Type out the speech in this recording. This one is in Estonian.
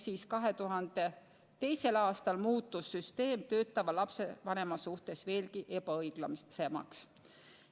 Seega 2002. aastal muutus süsteem töötava lapsevanema suhtes veelgi ebaõiglasemaks.